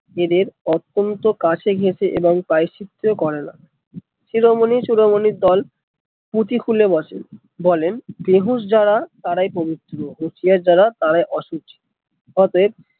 এদের অতন্ত্য কাছে ঘেসে এবং প্রায়শ্চিত্ত ও করে না শিরোমনি শিরোমনির দল পুঁথি খুলে বসে বলেন বেহুঁশ যারা তারাই পবিত্র হুঁশিয়ার যারা তারা অসুচ অতএব